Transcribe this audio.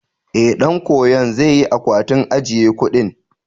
Ee, ɗan koyon zai yi akwatin ajiye kuɗin.